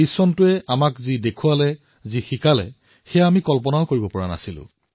তেওঁ লিখিছে যে ২০২০ত আমি যি যি দেখিলো যি যি শিকিলো সেয়া কেতিয়াও ভবা নাছিলো